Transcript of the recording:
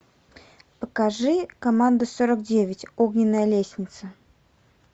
покажи команда сорок девять огненная лестница